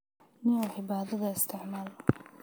Nio xibadadha isticmaal.